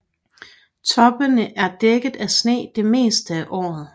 Toppene er dækket af sne det meste af året